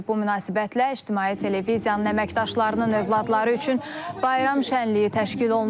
Bu münasibətlə ictimai televiziyanın əməkdaşlarının övladları üçün bayram şənliyi təşkil olunub.